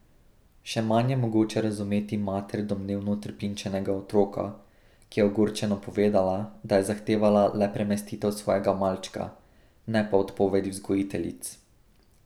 Še manj je mogoče razumeti mater domnevno trpinčenega otroka, ki je ogorčeno povedala, da je zahtevala le premestitev svojega malčka, ne pa odpovedi vzgojiteljic.